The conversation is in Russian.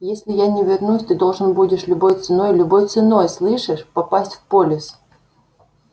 если я не вернусь ты должен будешь любой ценой любой ценой слышишь попасть в полис